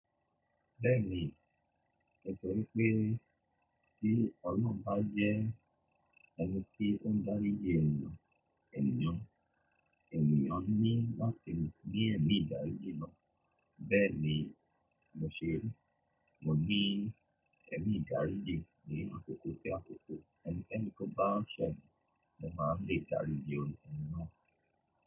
Bẹ́ẹ̀ ni, èni pè tí Olorun ba jẹ́ ẹni tí ó ń daríji eniyan, eniyan, eniyan ní láti ní mí ẹ̀mí idaríji naa. Bẹ́ẹ̀ ni, mo ṣẹ̀, mo ní ẹ̀mí daríji ní àkókò si àkókò, bi ẹnikan bá ṣẹ̀, mo máa ń rí daríji eni na.